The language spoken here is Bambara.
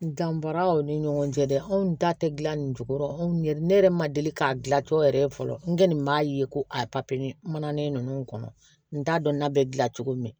Dan bɔra aw ni ɲɔgɔn cɛ dɛ anw ta tɛ gilan nin jukɔrɔ anw yɛrɛ ne yɛrɛ ma deli k'a dilan tɔ yɛrɛ ye fɔlɔ n kɛlen b'a ye ko a mananin ninnu kɔnɔ n t'a dɔn n na bɛ gila cogo min